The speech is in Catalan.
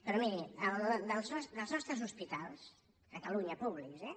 però miri dels nostres hospitals a catalunya públics eh